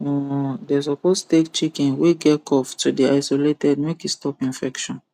um dem suppose take chicken wey get cough to d isolated make e stop infection